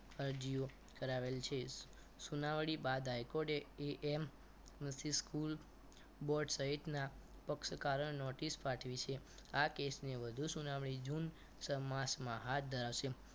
અરજીઓ કરાવેલ છે સુનાવણી બાદ હાઈ કોર્ટ એ amc school board સહિતના પક્ષકારક notice પાઠવી છે આ કેસને વધુ સુનાવણી જૂન સમાસમાં હાથ ધરાવશે